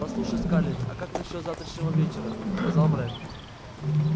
послушай скарлетт а как насчёт завтрашнего вечера сказал брент